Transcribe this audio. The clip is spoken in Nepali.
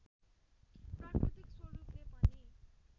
प्राकृतिक स्वरूपले पनि